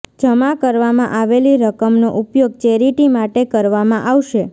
જમા કરવામાં આવેલી રકમનો ઉપયોગ ચેરિટી માટે કરવામાં આવશે